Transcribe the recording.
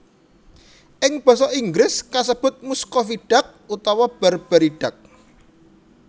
Ing basa Inggris kasebut Muscovy Duck utawa Barbary Duck